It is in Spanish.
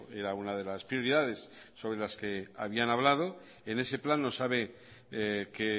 era una de las prioridades sobre las que había hablado en ese plano sabe que